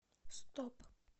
стоп